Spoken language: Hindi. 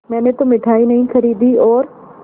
मैंने तो मिठाई नहीं खरीदी और